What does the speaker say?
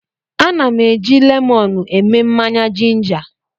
Ana m eji lemọnụ eme mmanya jinja.